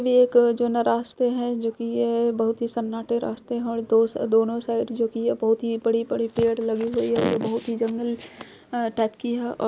ये एक जौना रास्ते हैं जो कि यह बहुत ही सन्नाटे रास्ते हैं और दोस दोनों साइड जो कि या बहुत ही बड़ी-बड़ी पेड़ लगी हुई है ये बहुत ही जंगल टाइप की हा अ --